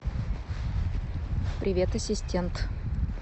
привет ассистент